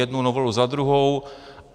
Jednu novelu za druhou.